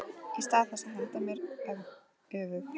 Í stað þess að henda mér öfug